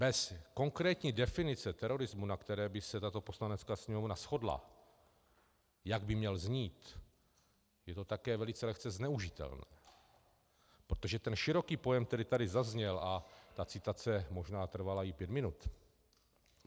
Bez konkrétní definice terorismu, na které by se tato Poslanecká sněmovna shodla, jak by měl znít, je to také velice lehce zneužitelné, protože ten široký pojem, který tady zazněl, a ta citace možná trvala i pět minut...